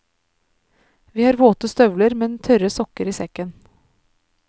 Vi har våte støvler, men tørre sokker i sekken.